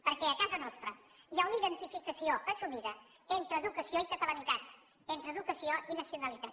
perquè a casa nostra hi ha una identificació assumida entre educació i catalanitat entre educació i nacionalitat